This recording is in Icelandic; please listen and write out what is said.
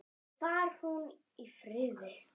Far hún í friði.